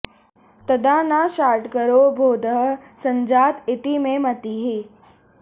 तदा न शाङ्करो बोधः संजात इति मे मतिः